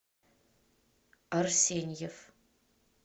арсеньев